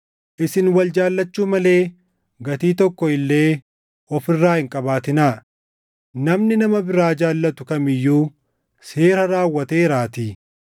Isin wal jaallachuu malee gatii tokko illee of irraa hin qabaatinaa; namni nama biraa jaallatu kam iyyuu seera raawwateeraatii.